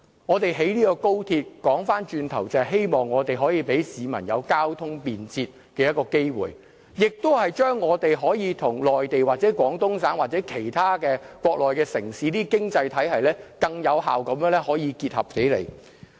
我們興建高鐵就是希望可以為市民提供便捷的交通，也是讓我們可以跟內地、廣東省或其他國內城市的經濟體系更有效結合起來。